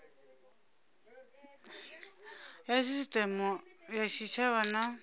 ya sisiteme ya tshitshavha na